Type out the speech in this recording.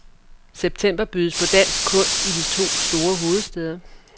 September bydes på dansk kunst i de to store hovedstæder.